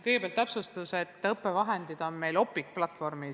Kõigepealt täpsustan, et õppevahendid on meil valdavalt Opiqu platvormil.